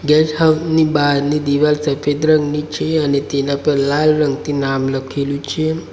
Guest house ની બારની દીવાલ સફેદ રંગની છે અને તેના પર લાલ રંગથી નામ લખેલું છે.